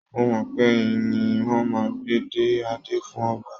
Mo mọ̀ pé ẹ̀yìn ni wọ́n máa ń gbé dé adé fún ọba